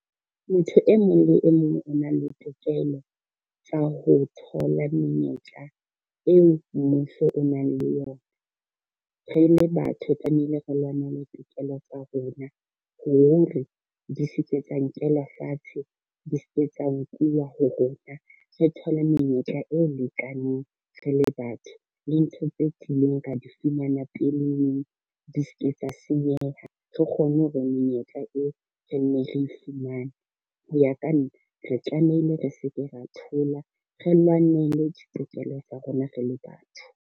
Motho e mong le e mong o na le tokelo tsa ho thola menyetla eo mmuso o nang le yona. Re le batho tlamehile re lwanela tokelo tsa rona hore di se ke tsa nkelwa fatshe, di se ke tsa nkuwe ho rona. Re thole menyetla e lekaneng re le batho le ntho tse kileng ra di fumana peleng di ske tsa senyeha, re kgone ho re menyetla eo re nne re fumane. Ho ya ka nna, re tlamehile re se ke ra thola, re lwanele ditokelo tsa rona re le batho.